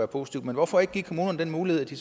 positivt men hvorfor ikke give kommunerne den mulighed at de